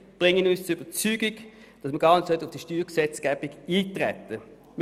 Diese Gründe bringen uns zur Überzeugung, dass man gar nicht auf diese Steuergesetzgebung eintreten sollte.